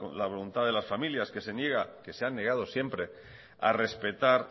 la voluntad de las familias que se han negado siempre a respetar